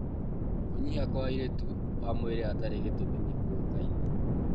Kũnyiha kwa ũritũ wa mwĩrĩ hatarĩ gĩtũmi kĩũĩkaine.